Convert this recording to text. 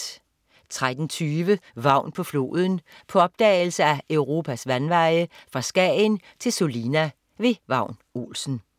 13.20 Vagn på floden. På opdagelse ad Europas vandveje, fra Skagen til Sulina. Vagn Olsen